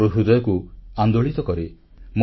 ମୋ ହୃଦୟକୁ ଆନ୍ଦୋଳିତ କରେ